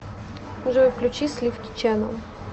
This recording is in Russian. джой включи сливки чэнел